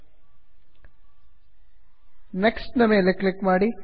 next next ನ ಮೇಲೆ click ಮಾಡಿ